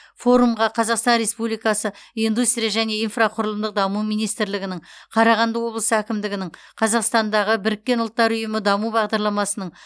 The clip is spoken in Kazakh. форумға қазақстан республикасы индустрия және инфрақұрылымдық даму министрлігінің қарағанды облысы әкімдігінің қазақстандағы біріккен ұлттар ұйымы даму бағдарламасының